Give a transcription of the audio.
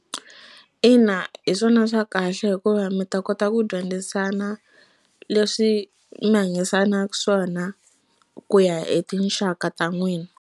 Ina hi swona swa kahle hikuva mi ta kota ku dyondzisana leswi mi hanyisanaka swona ku ya hi tinxaka ta n'wina.